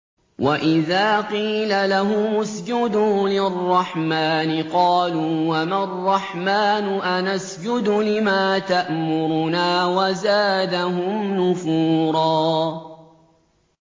وَإِذَا قِيلَ لَهُمُ اسْجُدُوا لِلرَّحْمَٰنِ قَالُوا وَمَا الرَّحْمَٰنُ أَنَسْجُدُ لِمَا تَأْمُرُنَا وَزَادَهُمْ نُفُورًا ۩